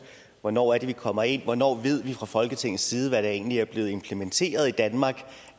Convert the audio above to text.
hvornår det er vi kommer ind hvornår vi fra folketingets side ved hvad der egentlig er blevet implementeret i danmark